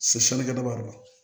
Se